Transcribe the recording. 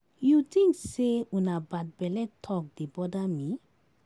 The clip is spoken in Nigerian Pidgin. You think say una bad belle talk dey bother me?